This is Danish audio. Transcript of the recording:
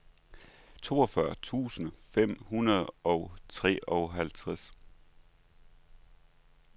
toogfyrre tusind fem hundrede og treoghalvtreds